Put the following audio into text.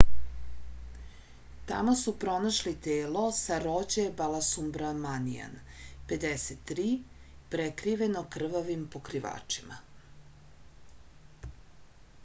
tamo su pronašli telo sarođe balasubramanian 53 prekriveno krvavim pokrivačima